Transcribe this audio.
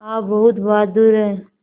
आप बहुत बहादुर हैं